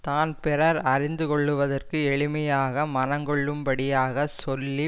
தான் பிறர் அறிந்து கொள்ளுவதற்கு எளிமையாக மனங்கொள்ளும் படியாக சொல்லி